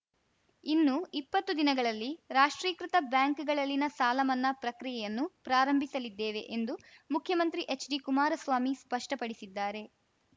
ಇನ್ನು ಇಪ್ಪತ್ತು ದಿನಗಳಲ್ಲಿ ರಾಷ್ಟ್ರೀಕೃತ ಬ್ಯಾಂಕ್‌ಗಳಲ್ಲಿನ ಸಾಲ ಮನ್ನಾ ಪ್ರಕ್ರಿಯೆಯನ್ನೂ ಪ್ರಾರಂಭಿಸಲಿದ್ದೇವೆ ಎಂದು ಮುಖ್ಯಮಂತ್ರಿ ಎಚ್‌ಡಿ ಕುಮಾರಸ್ವಾಮಿ ಸ್ಪಷ್ಟಪಡಿಸಿದ್ದಾರೆ